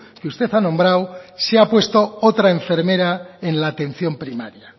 que usted ha nombrado se ha puesto otra enfermera en la atención primaria